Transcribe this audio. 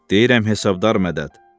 Deyirəm hesabdar Mədəd.